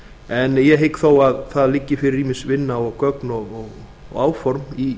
en ég hygg þó að það liggi fyrir ýmis vinna og gögn og áform í